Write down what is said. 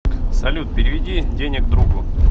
салют переведи денег другу